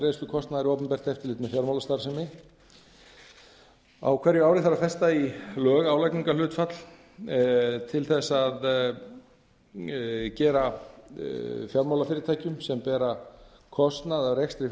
greiðslu kostnaðar við opinbert eftirlit með fjármálastarfsemi á hverju ári þarf að festa í lög álagningarhlutfall til að gefa fjármálafyrirtækjum sem bera kostnað af rekstri